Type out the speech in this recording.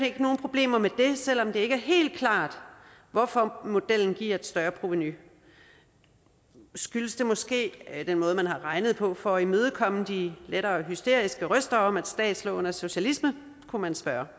ikke nogen problemer med det selv om det ikke er helt klart hvorfor modellen giver et større provenu skyldes det måske den måde man har regnet på for at imødekomme de lettere hysteriske røster om at statslån er socialisme kunne man spørge